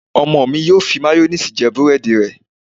Ọmọ mi yóò fi máyóníìsì jẹ búrẹ́dì rẹ̀